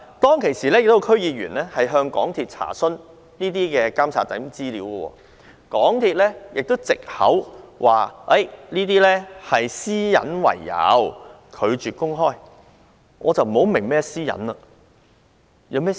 當時，亦有區議員向港鐵公司查詢監察資料，但港鐵公司卻以私隱為藉口，拒絕公開資料。